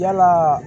Yalaa